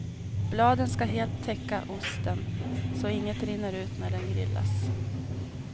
Bladen ska helt täcka osten så inget rinner ut när den grillas.